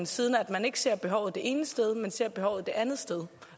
siden man ikke ser behovet det ene sted men man ser behovet det andet sted